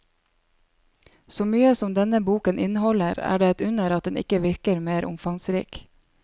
Så mye som denne boken inneholder, er det et under at den ikke virker mer omfangsrik.